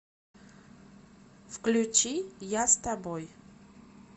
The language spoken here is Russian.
включи я с тобой